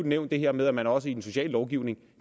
nævnt det her med at man også i den sociale lovgivning